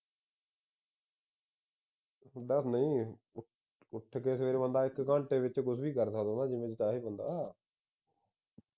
ਹੁੰਦਾ ਨਹੀਂ ਇਹ ਉਠ ਕੇ ਸਵੇਰੇ ਬੰਦਾ ਇਕ ਘੰਟੇ ਵਿਚ ਕੁਝ ਵੀ ਕਰ ਸਕਦਾ ਜਿਵੇਂ ਚਾਹੇ ਬੰਦਾ